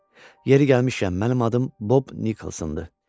Yeri gəlmişkən, mənim adım Bob Nikolsondur.